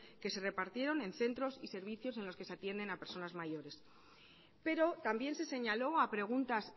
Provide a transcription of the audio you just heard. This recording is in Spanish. que se repartieron en centros y servicios en los que se atienden a personas mayores pero también se señaló a preguntas